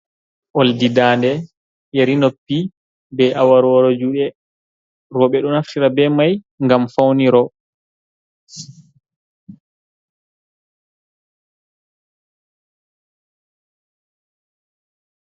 Oldi daande, yeri noppi, be aworworo juuɗe. Rooɓe ɗo naftira be mai ngam fawniro.